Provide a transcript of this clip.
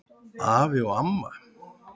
Afi og amma